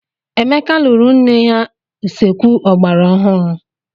Emeka lụrụ ńne ya usekwu ogbara ọhụụ.